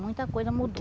Muita coisa mudou.